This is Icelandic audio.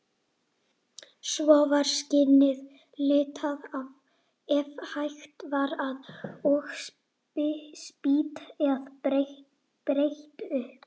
Svo var skinnið litað, ef hægt var, og spýtt eða breitt upp.